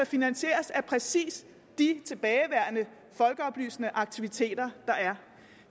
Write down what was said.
finansieres af præcis de tilbageværende folkeoplysende aktiviteter